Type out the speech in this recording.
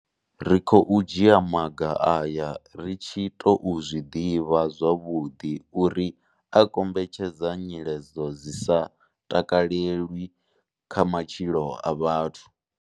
Ri khou dzhia maga aya ri tshi tou zwi ḓivha zwavhuḓi uri a kombetshedza nyiledzo dzi sa takalelwi kha matshilo a vhathu.